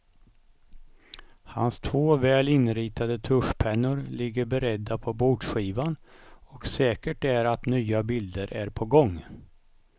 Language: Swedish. Hans två väl inritade tuschpennor ligger beredda på bordskivan och säkert är att nya bilder är på gång.